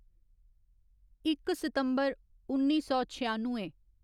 इक सितम्बर उन्नी सौ छेआनुए